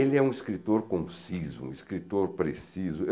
Ele é um escritor conciso, um escritor preciso.